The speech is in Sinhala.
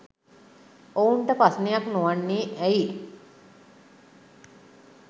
ඔවුන්ට ප්‍රශ්නයක් නොවන්නේ ඇයි?